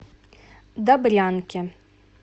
добрянке